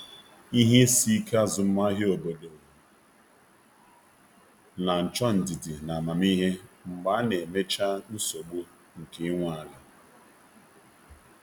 Ihe isi ike azụmahịa obodo na-achọ ndidi na amamihe mgbe a na-emechaa nsogbu nke ị nwe ala.